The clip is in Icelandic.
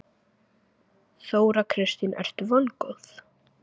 Þóra Kristín: Ertu vongóð?